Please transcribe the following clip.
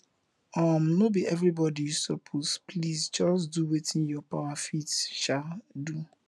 um no bi evribodi yu soppose please jus do wetin yur power fit um do